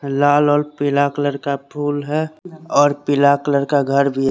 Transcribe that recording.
लाल और पिला कलर का फुल है और पिला कलर का घर भी है।